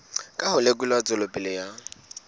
ka ho lekola tswelopele ya